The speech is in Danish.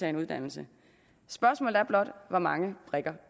en uddannelse spørgsmålet er blot hvor mange brikker